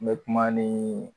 Ne mɛ kuma ni